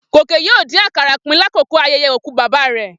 Gòkè yóò dín àkàrà pín lákòókò ayẹyẹ òkú bàbá rẹ̀.